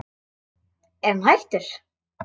Er hann hættur?